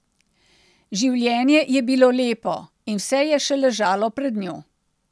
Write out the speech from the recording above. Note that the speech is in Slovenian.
Življenje je bilo lepo in vse je še ležalo pred njo.